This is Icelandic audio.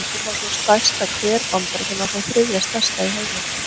Hér má sjá stærsta hver Bandaríkjanna, og þann þriðja stærsta í heimi.